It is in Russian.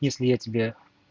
если я тебя